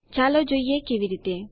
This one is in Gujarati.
ચાલો જોઈએ કેવી રીતે